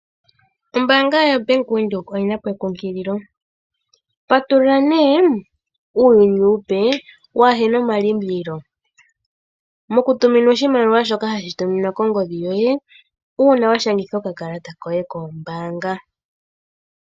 Ombaanga ya Bank Windhoek oyina po enkunkililo, otuna nee uuyuni uupe wahena omalimbililo, moku tuminwa oshimaliwa shoka hashi tuminwa kongodhi yoye uuna wa Shangitha okakalata koye kombaanga.